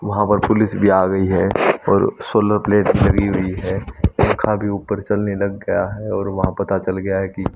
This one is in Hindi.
वहां पर पुलिस भी आ गई है और सोलर प्लेट लगी हुई है पंखा भी ऊपर चलने लग गया है और वहां पता चल गया है कि--